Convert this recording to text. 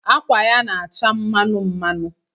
Akwa ya na-acha mmanụ mmanụ